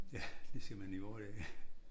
Ja det er simpelthen i vore dage